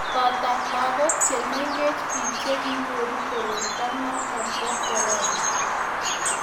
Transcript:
boto lagok che mengechen biik che kinyoru koroito noto bo korona